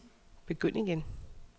begynd igen